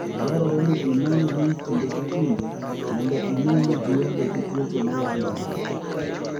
Dwarore ni inon winy kinde ka kinde mondo ine ni gionge gi tuoche ma landore.